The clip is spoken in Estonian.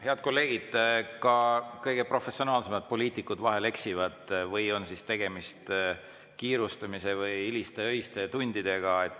Head kolleegid, ka kõige professionaalsemad poliitikud vahel eksivad või on siis tegemist kiirustamise või hiliste öiste tundidega.